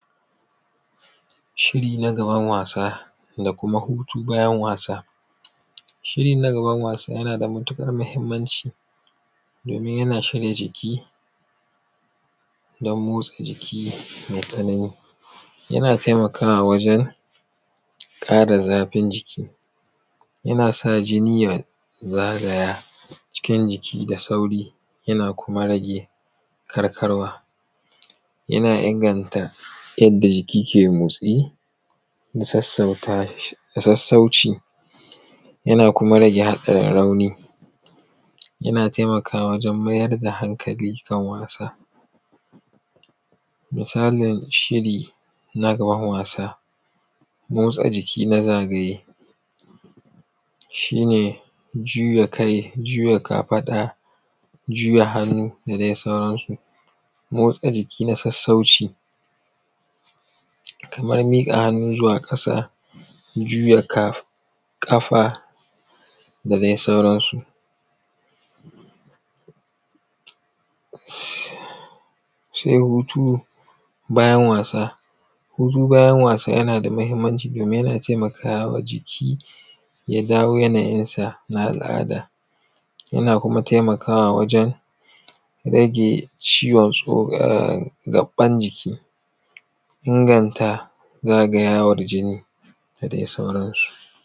Shiri na gaban wasa da kuma hutu bayan wasa. Shiri na gaban wasa yana da matuƙar muhimmanci domin yana shirya jiki don motsa jiki mai tsanani, yana taimakawa wajen kare zafin jiki, yana sa jini ya zagaya cikin jiki da sauri yana kuma rage karkarwa yana inganta yadda jiki ke motsa da sassauta shi da sassauci yana kuma rage haɗarin rauni, yana taimakawa wajen mayar da hankali kan wasa. Misalin shiri na gaban wasa motsa jiki na zagaye shi ne juya kai juya kafaɗa juya hannu da dai sauransu. Motsa jiki na sassauci kamar miƙa hannu zuwa kasa juya ka, ƙafa da dai sauransu. Wash. Sai hutu bayan wasa, hutu bayan wasa yana da mahimmanci domin yana taimakawa jiki ya dawo yana yin sa na al’ada, yana kuma taimakawa wajen rage ciwon tso, gaban jiki inganta zagayawar jini da dai sauransu.